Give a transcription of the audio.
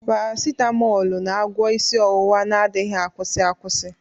Paracitamoolu na-agwọ isi ọwụwa na adighi akwusi akwusi.